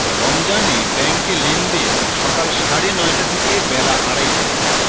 রমজানে ব্যাংকে লেনদেন সকাল সাড়ে নয়টা থেকে বেলা আড়াইটা